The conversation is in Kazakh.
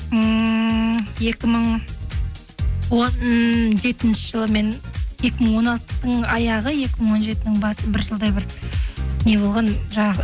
ммм екі мың он жетінші жылы мен екі мың он алтының аяғы екі мың он жетінің басы бір жылдай бір не болған жаңағы